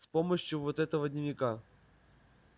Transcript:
с помощью вот этого дневника